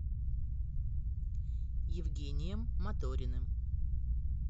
евгением моториным